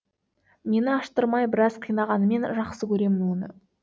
мені аштырмай біраз қинағанымен жақсы көремін оны